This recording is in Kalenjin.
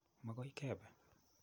Makoi kepe.